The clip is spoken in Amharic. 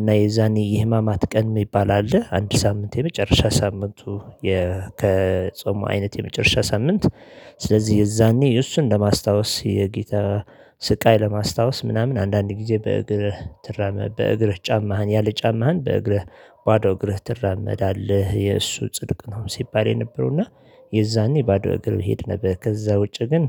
እና የዛኔ የህማማት ቀን የሚባል አለ አንድ ሳምንት የመጨረሻ ሳምንቱ። ከጾሙ አይነት የመጨረሻ ሳምንት ስለዚህ የዛኔ እሱን ለማስታወስ የጌታ ስቃይ ለማስታወስ ምናምን አንዳንድ ጊዜ በእግርህ ትራመድ በእግርህ ጫማህን ያለ ጫማህን በእግርህ ባዶ እግርህ ትራመዳለህ የእሱ ጽድቅ ነው። ሲባል የነበረው እና የዛኔ ባዶ እግር መሄድ ነበር። ከዛ ውጪ ግን